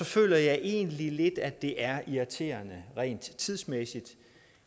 føler jeg egentlig lidt at det er irriterende rent tidsmæssigt